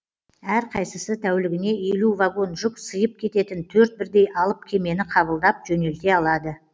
әрқайсысы тәулігіне елу вагон жүк сыйып кететін төрт бірдей алып кемені қабылдап жөнелте алады